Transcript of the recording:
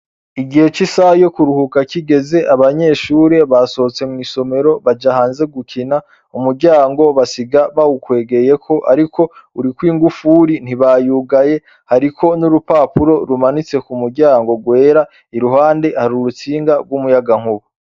Igihe c'isaha yo kuruhuka kigeze, abanyeshure basohotse mw'isomero baja hanze gukina. Umuryango basiga bawukwegeyeko ariko urikw'ingufuri, ntibayugaye. Hariko n'urupapuro rumanitse ku muryango rwera. Iruhande hari urutsinga rw'umuyagankuba.